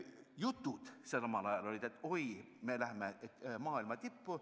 Jutud omal ajal olid sellised, et oi, me lähme maailma tippu.